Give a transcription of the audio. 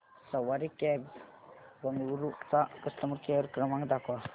सवारी cabs Bengaluru चा customer care क्रमांक दाखवा